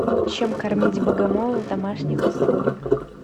чем кормить богомола в домашних условиях